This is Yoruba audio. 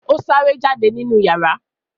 ọ sáré jáde nínú iyàrá.